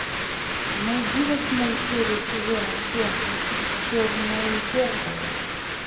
найди восьмую серию сезона семь черное зеркало